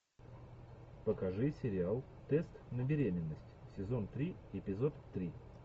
покажи сериал тест на беременность сезон три эпизод три